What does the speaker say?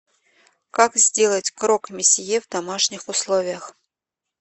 как сделать крок месье в домашних условиях